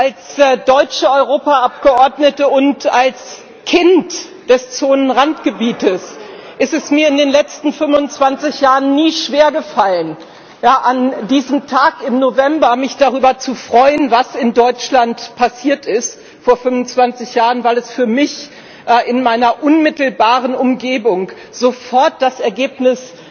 Als deutsche Europaabgeordnete und als Kind des Zonenrandgebietes ist es mir in den letzten 25 Jahren nie schwergefallen, mich an diesem Tag im November mich darüber zu freuen, was in Deutschland vor 25 Jahren passiert ist, weil es für mich in meiner unmittelbaren Umgebung sofort das Ergebnis